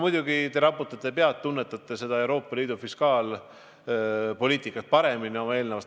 Muidugi te raputate pead, te tunnete Euroopa Liidu fiskaalpoliitikat paremini.